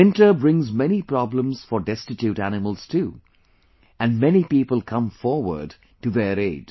Winter brings many problems for destitute animals too and many people come forward to their aid